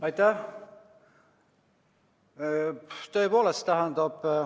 Aitäh!